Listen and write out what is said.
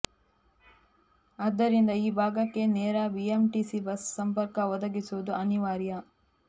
ಆದ್ದರಿಂದ ಈ ಭಾಗಕ್ಕೆ ನೇರ ಬಿಎಂಟಿಸಿ ಬಸ್ ಸಂಪರ್ಕ ಒದಗಿಸುವುದು ಅನಿವಾರ್ಯ